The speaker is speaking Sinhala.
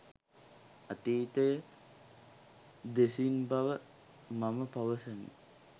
අතීතය දෙසින් බව මම පවසමි